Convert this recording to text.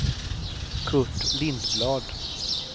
Kurt Lindblad